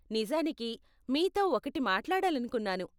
నిజానికి, మీతో ఒకటి మాట్లాడాలనుకున్నాను.